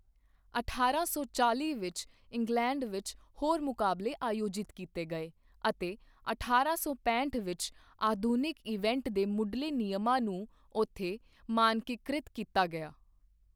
ਅਠਾਰਾਂ ਸੌ ਚਾਲ੍ਹੀ ਵਿੱਚ ਇੰਗਲੈਂਡ ਵਿੱਚ ਹੋਰ ਮੁਕਾਬਲੇ ਆਯੋਜਿਤ ਕੀਤੇ ਗਏ ਅਤੇ ਅਠਾਰਾਂ ਸੌ ਪੈਹਂਠ ਵਿੱਚ ਆਧੁਨਿਕ ਇਵੇੰਟ ਦੇ ਮੁੱਢਲੇ ਨਿਯਮਾਂ ਨੂੰ ਉੱਥੇ ਮਾਨਕੀਕ੍ਰਿਤ ਕੀਤਾ ਗਿਆ।